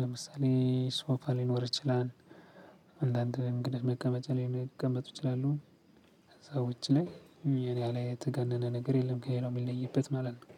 ለምሳሌ ሶፋ ሊኖር ይችላል። አንዳንድ እንግዳ መቀመጫ ላይ ሊቀመጡ ይችላሉ። ከዛ ውጪ ላይ አለ የተጋነነ ነገር የለም ከሌላው ሚለይበት ማለት ነው።